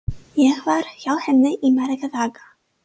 Ég var hjá henni í marga daga.